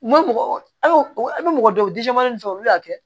N ma mɔgɔ an y'o an bɛ mɔgɔ dɔw olu y'a kɛ